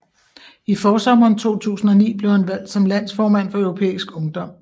I forsommeren 2009 blev han valgt som landsformand for Europæisk Ungdom